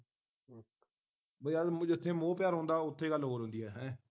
ਬਈ ਯਾਰ ਜਿੱਥੇ ਮੋਹ ਪਿਆਰ ਹੁੰਦਾ ਹੈ ਓਥੇ ਗੱਲ ਹੋਰ ਹੁੰਦੀ ਹੈ ਹੈਂ